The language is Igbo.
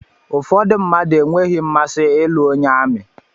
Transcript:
Ụfọdụ mmadụ enweghị mmasị ịlụ onye amị.